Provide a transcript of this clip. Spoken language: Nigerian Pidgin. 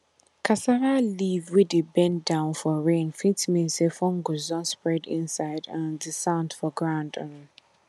cassava leaf wey dey bend down for rain fit mean say fungus don spread inside um di sand for ground um